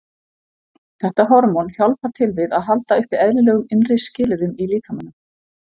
Þetta hormón hjálpar til við að halda uppi eðlilegum innri skilyrðum í líkamanum.